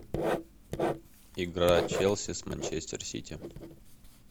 игра челси с манчестер сити